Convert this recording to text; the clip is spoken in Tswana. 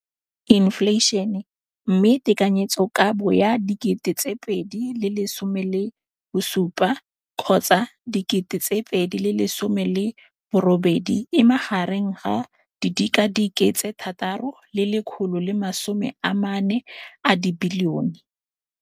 Infleišene, mme tekanyetsokabo ya 2017, 18, e magareng ga R6.4 bilione.